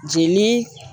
Jenini